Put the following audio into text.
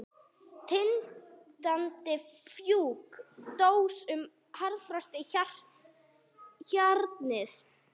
Tindrandi fjúk dróst um harðfrosið hjarnið.